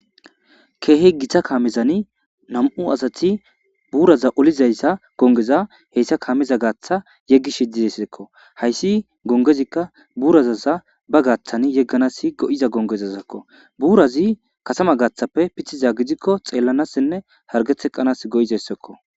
Keehe githa kaamezani nam'u asati buuraza olizayssa gongeza heyssa kaameza gaaththa yeggi shidizesidekko hayssi gongezikka buurazaza ba gaaththan yegganas go'iza gongezazakko buurazi kasama gaaththappe pithiza gidikko xeellanassinne hargetheqanas go'izayssakko.